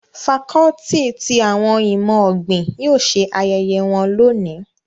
Facọluti ti awọn imọ-ogbin yóò ṣe ayẹyẹ wọn loni